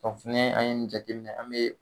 fana an ye nin jateminɛ an bɛ